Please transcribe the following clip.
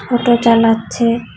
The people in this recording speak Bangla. অটো চালাচ্ছে--